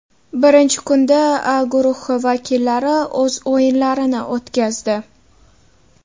Birinchi kunda A guruhi vakillari o‘z o‘yinlarini o‘tkazdi.